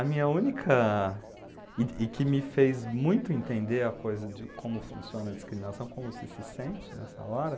A minha única... E e que me fez muito entender a coisa de como funciona a discriminação, como você se sente nessa hora.